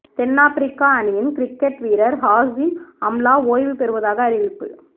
தென்னாபிரிக்கா அணியின் கிரிக்கெட் வீரர் Hashim Amla ஓய்வு பெறுவதாக அறிவிப்பு